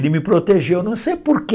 Ele me protegeu, não sei porquê.